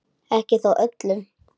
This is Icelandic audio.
Ekki þó öllum.